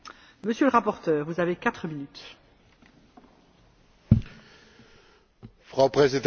Frau Präsidentin, Herr Vizepräsident Tajani, meine sehr geehrten Kolleginnen und Kollegen!